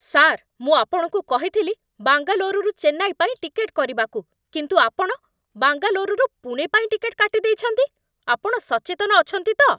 Sir! ମୁଁ ଆପଣଙ୍କୁ କହିଥିଲି ବାଙ୍ଗାଲୋରରୁ ଚେନ୍ନାଇ ପାଇଁ ଟିକେଟ୍ କରିବାକୁ, କିନ୍ତୁ ଆପଣ ବାଙ୍ଗାଲୋରରୁ ପୁଣେ ପାଇଁ ଟିକେଟ୍ କାଟିଦେଇଛନ୍ତି। ଆପଣ ସଚେତନ ଅଛନ୍ତି ତ?